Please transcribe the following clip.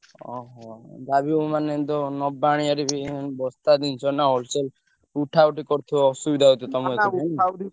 ଓହୋ ଯାହାବି ହଉ ମାନେ ତ ନବା ଆଣିଆରେ ବି ବସ୍ତା ଜିନିଷ ନା wholesale ଉଠାଉଠି କରୁଥିବ ଅସୁବିଧା ତମୁକୁ ।